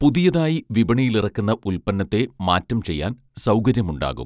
പുതിയതായി വിപണിയിലിറക്കുന്ന ഉൽപ്പന്നത്തെ മാറ്റം ചെയ്യാൻ സൗകര്യം ഉണ്ടാകും